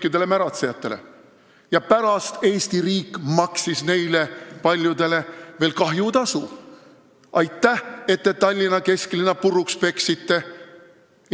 Aga pärast maksis Eesti riik neist paljudele veel kahjutasu: aitäh, et te Tallinna kesklinna puruks peksite!